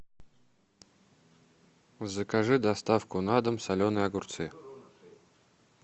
закажи доставку на дом соленые огурцы